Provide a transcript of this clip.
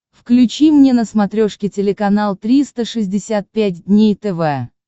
включи мне на смотрешке телеканал триста шестьдесят пять дней тв